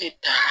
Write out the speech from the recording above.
Tɛ taa